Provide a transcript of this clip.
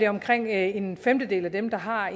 omkring en femtedel af dem der har